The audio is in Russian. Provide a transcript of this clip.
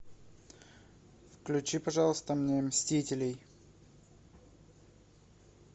включи пожалуйста мне мстителей